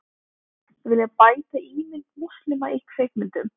Vilja bæta ímynd múslima í kvikmyndum